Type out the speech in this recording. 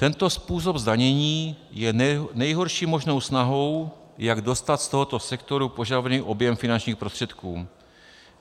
Tento způsob zdanění je nejhorší možnou snahou, jak dostat z tohoto sektoru požadovaný objem finančních prostředků.